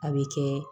A bɛ kɛ